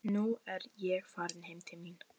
Nú er ég farin heim til mín.